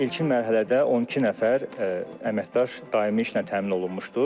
İlkin mərhələdə 12 nəfər əməkdaş daimi işlə təmin olunmuşdur.